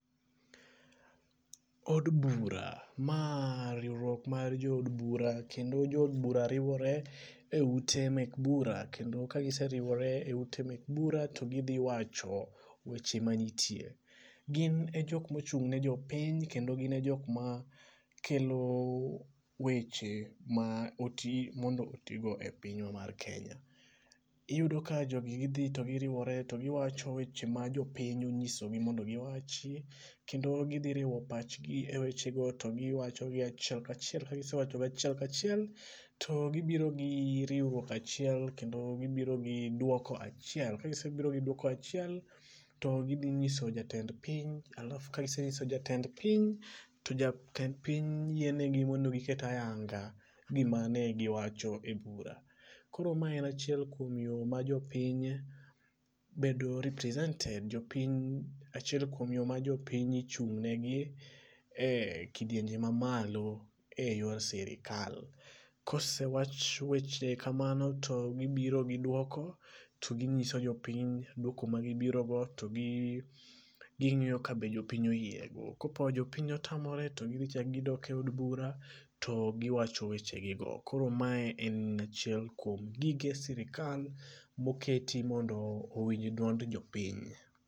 Od bura, maa riwruok mar jood bura kendo jood bura riwore e ute mek bura kendo ka giseriwore e ute mek bura to gidhiwacho weche manitie. Gin e jokma ochung' ne jopiny kendo gin e jokma kelo weche ma oti mondo otigo e pinywa mar kenya. Iyudo ka jogi gidhii to giriwore to giwacho weche ma jopiny onyisogi mondo giwachi kendo gidhiriwo pachgi e wechego to giwachogi achiel ka achiel to ka gisewachogi achiel ka achiel to gibiro gi riwruok achel kendo gibiro gi dwoko achiel ka gisebiro gi riwruok achiel, to gidhinyiso jatend piny alaf kaginyiso jatend piny to jatend piny yienegi mondo giket ayanga gimane giwacho e bura. Koro ma en achiel kuom yoi ma jopiny bedo represented jopiny, achiel kwom yo ma jopiny ichung'negi e kidienje mamalo e yor sirikal, ka osewach weche kamano to gibiro gi dwoko to ginyiso jopiny dwoko ma gibirogo to ging'iyo ka be jopiny oyiego, kopo jopiny otamore to gidhichako gidok e od bura to giwacho weche gigo koromae en achiel kuom gige sirikal moketi mondo owinj duond jpiny